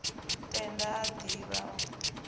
tenda a div ha o